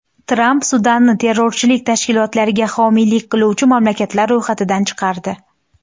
Tramp Sudanni terrorchilik tashkilotlariga homiylik qiluvchi mamlakatlar ro‘yxatidan chiqardi.